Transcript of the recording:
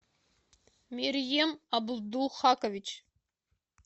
мерьем абдулхакович